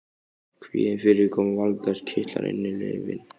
Kvíðinn fyrir komu Valgarðs kitlar innyflin.